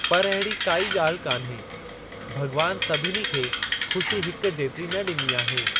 पर अहिड़ी काइ ॻाल्हि कान्हे, भॻवानु सभिनी खे खु़शी हिक जेतिरी न ॾिनी आहे।